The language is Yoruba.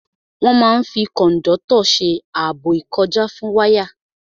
Wọ́n máa n fi kòndọ́tọ̀ ṣe ààbò ìkọjá fún wáyà